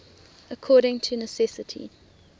according to necessity